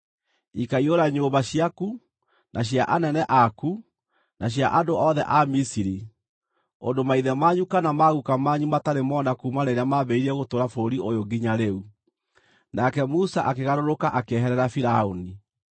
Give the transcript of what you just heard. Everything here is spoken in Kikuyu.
Ikaiyũra nyũmba ciaku, na cia anene aku, na cia andũ othe a Misiri, ũndũ maithe manyu kana maguuka manyu matarĩ mona kuuma rĩrĩa mambĩrĩirie gũtũũra bũrũri ũyũ nginya rĩu.’ ” Nake Musa akĩgarũrũka akĩeherera Firaũni.